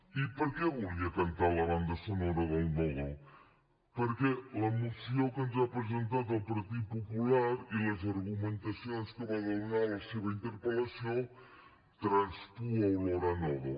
i per què volia cantar la banda sonora del nodo perquè la moció que ens ha presentat el partit popular i les argumentacions que varen donar a la seva interpel·lació traspuen olor de nodo